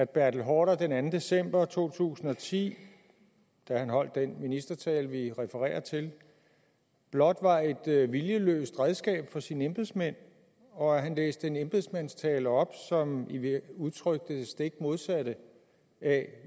bertel haarder den anden december to tusind og ti da han holdt den ministertale vi refererer til blot var et viljeløst redskab for sine embedsmænd og at han læste en embedsmandstale op som udtrykte det stik modsatte af